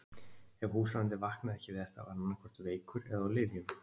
Ef húsráðandi vaknaði ekki við þetta var hann annaðhvort veikur eða á lyfjum.